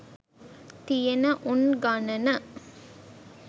තියන උන් ගණන